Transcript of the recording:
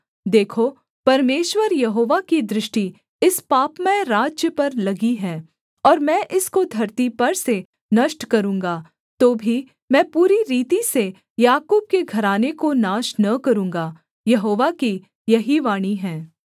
देखो परमेश्वर यहोवा की दृष्टि इस पापमय राज्य पर लगी है और मैं इसको धरती पर से नष्ट करूँगा तो भी मैं पूरी रीति से याकूब के घराने को नाश न करूँगा यहोवा की यही वाणी है